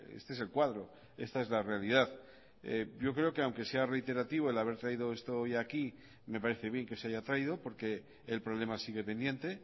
este es el cuadro esta es la realidad yo creo que aunque sea reiterativo el haber traído esto hoy aquí me parece bien que se haya traído porque el problema sigue pendiente